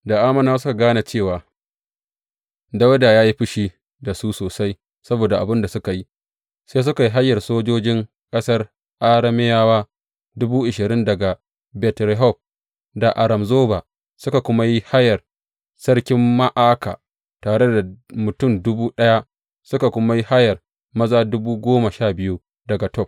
Da Ammonawa suka gane cewa Dawuda ya ji fushi da su sosai saboda abin da suka yi, sai suka yi hayar sojojin ƙasar Arameyawa dubu ashirin daga Bet Rehob da Aram Zoba, suka kuma yi hayar sarkin Ma’aka tare da mutum dubu ɗaya, suka kuma yi hayar maza dubu goma sha biyu daga Tob.